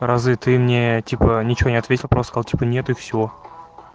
разве ты мне типа ничего не ответил просто типо нет и все